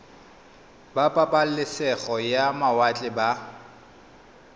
ba pabalesego ya mawatle ba